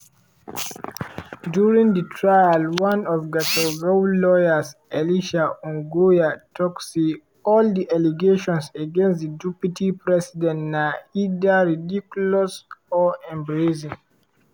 during di trial one of gachagua lawyers elisha ongoya tok say all di allegations against di deputy president na "either false ridiculous or embarrassing".